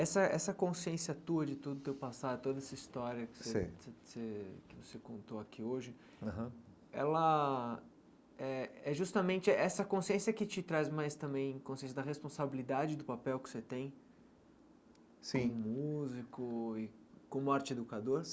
Essa essa consciência tua de todo o teu passado, toda essa história que você sei que você contou aqui hoje, aham ela eh é justamente essa consciência que te traz mais também consciência da responsabilidade do papel que você tem sim como músico e como arte-educador?